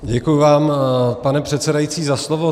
Děkuju vám, pane předsedající, za slovo.